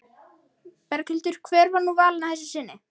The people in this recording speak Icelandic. Berghildur, hver var nú valinn að þessu sinni?